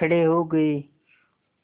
खड़े हो गए